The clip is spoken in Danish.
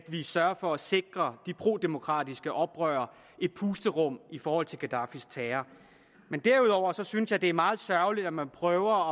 er sørger for at sikre de prodemokratiske oprørere et pusterum i forhold til gaddafis terror men derudover synes jeg det er meget sørgeligt at man prøver